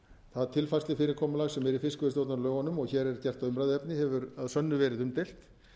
það tilfærslufyrirkomulag sem er í fiskveiðistjórnarlögunum og hér er gert að umræðuefni hefur að sönnu gerð umdeilt